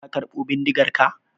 Ka karɓo bindigarka?